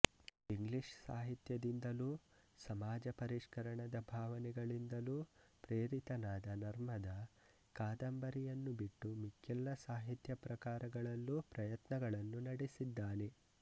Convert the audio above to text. English ಸಾಹಿತ್ಯದಿಂದಲೂ ಸಮಾಜ ಪರಿಷ್ಕರಣದ ಭಾವನೆಗಳಿಂದಲೂ ಪ್ರೇರಿತನಾದ ನರ್ಮದ ಕಾದಂಬರಿಯನ್ನು ಬಿಟ್ಟು ಮಿಕ್ಕೆಲ್ಲ ಸಾಹಿತ್ಯ ಪ್ರಕಾರಗಳಲ್ಲೂ ಪ್ರಯತ್ನಗಳನ್ನು ನಡೆಸಿದ್ದಾನೆ